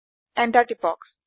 enter টিপক